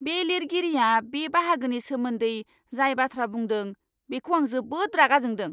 बे लिरगिरिया बे बाहागोनि सोमोन्दै जाय बाथ्रा बुंदों, बेखौ आं जोबोद रागा जोंदों।